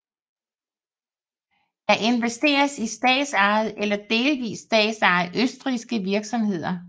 Der investeres i statsejede eller delvist statsejede østrigske virksomheder